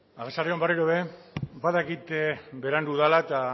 arratsalde on berriro ere badakit berandu dela eta